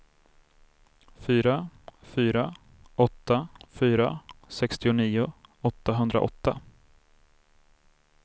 fyra fyra åtta fyra sextionio åttahundraåtta